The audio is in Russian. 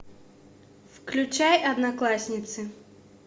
включай одноклассницы